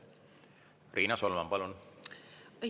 Riina Solman, palun!